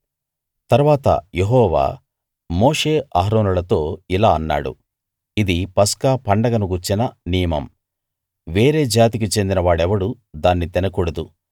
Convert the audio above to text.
తరువాత యెహోవా మోషే అహరోనులతో ఇలా అన్నాడు ఇది పస్కా పండగను గూర్చిన నియమం వేరే జాతికి చెందిన వాడెవడూ దాన్ని తినకూడదు